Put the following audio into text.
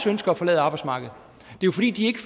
ønsker at forlade arbejdsmarkedet det er fordi de ikke